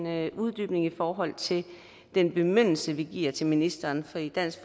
have en uddybning i forhold til den bemyndigelse vi giver til ministeren for i dansk